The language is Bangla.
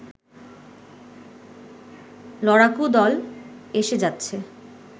লড়াকু দল এসে যাচ্ছে